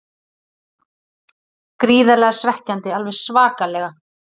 Gríðarlega svekkjandi, alveg svakalega.